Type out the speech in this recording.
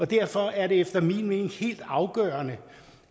derfor er det efter min mening helt afgørende